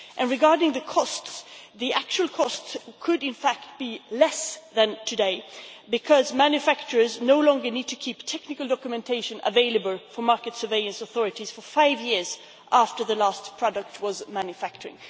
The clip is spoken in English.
And regarding the costs, the actual costs could in fact be less than today because manufacturers no longer need to keep technical documentation available for market surveillance authorities for five years after the last product was manufactured.